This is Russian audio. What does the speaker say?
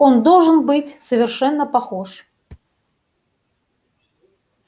он должен быть совершенно похож